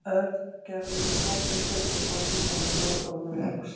Örn, Gerður og Tóti sötruðu gos í gegnum rör og voru hugsi.